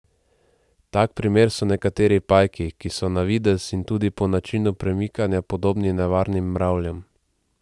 Tak primer so nekateri pajki, ki so na videz in tudi po načinu premikanja podobni nevarnim mravljam.